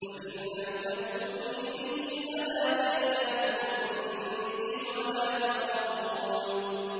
فَإِن لَّمْ تَأْتُونِي بِهِ فَلَا كَيْلَ لَكُمْ عِندِي وَلَا تَقْرَبُونِ